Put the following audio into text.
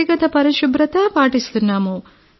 వ్యక్తిగత పరిశుభ్రత పాటిస్తున్నాం